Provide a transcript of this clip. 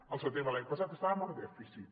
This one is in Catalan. al setembre de l’any passat estàvem amb dèficit